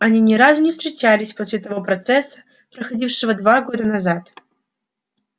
они ни разу не встречались после того процесса проходившего два года назад